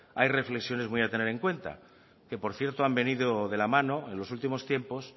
hay reflexiones muy a tener en cuenta que por cierto han venido de la mano en los últimos tiempos